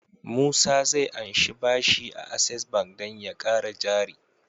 Musa zai anshi bashi a access bank dan ya kara jari